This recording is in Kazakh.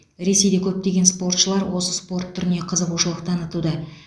ресейде көптеген спортшылар осы спорт түріне қызығушылық танытуда